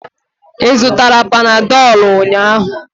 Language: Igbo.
Ị zụtara panadolu ụnyahụ?